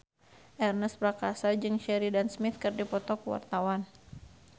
Ernest Prakasa jeung Sheridan Smith keur dipoto ku wartawan